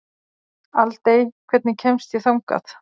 Aldey, hvernig kemst ég þangað?